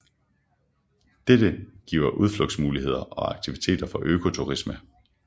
Dette giver udflugtsmuligheder og aktiviteter for økoturisme